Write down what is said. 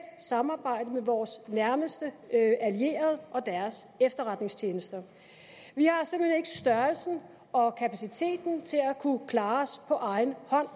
samarbejde med vores nærmeste allierede og deres efterretningstjenester vi har simpelt hen ikke størrelsen og kapaciteten til at kunne klare os på egen hånd